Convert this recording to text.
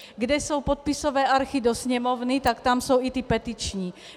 Kde jsou podpisové archy do sněmovny, tak tam jsou i ty petiční.